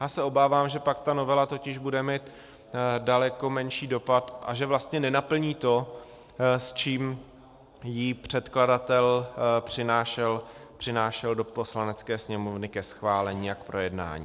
Já se obávám, že pak ta novela totiž bude mít daleko menší dopad a že vlastně nenaplní to, s čím ji předkladatel přinášel do Poslanecké sněmovny ke schválení a k projednání.